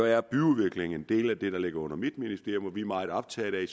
er byudvikling en del af det der ligger under mit ministerium og vi meget optaget af